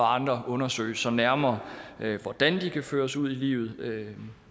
andre undersøges nærmere hvordan de kan føres ud i livet